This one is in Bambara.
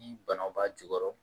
Ni banaw b'a jukɔrɔ